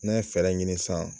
N'an ye fɛɛrɛ ɲini san